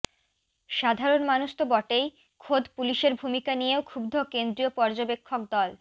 সাধারণ মানুষ তো বটেই খোদ পুলিশের ভূমিকা নিয়েও ক্ষুব্ধ কেন্দ্রীয় পর্যবেক্ষক দল